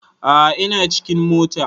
A a ina cikin mota.